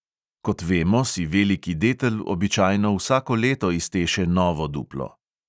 Kot vemo, si veliki detel običajno vsako leto izteše novo duplo.